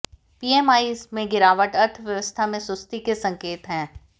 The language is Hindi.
पीएमआई में गिरावट अर्थव्यवस्था में सुस्ती के संकेत है